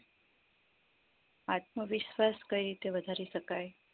આત્મવિશ્વાસ કઈ રીતે વધારી શકાય